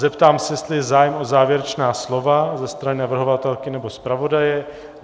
Zeptám se, jestli je zájem o závěrečná slova ze strany navrhovatelky nebo zpravodaje.